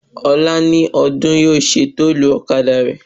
Ọ̀la ni Ọdún yóò ṣe tọ́tù ọ̀kadà rẹ̀